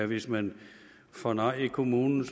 hvis man får nej i kommunen